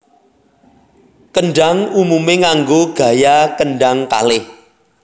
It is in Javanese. Kendhang umumé nganggo gaya kendhang kalih